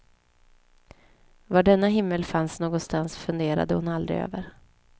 Var denna himmel fanns någonstans funderade hon aldrig över.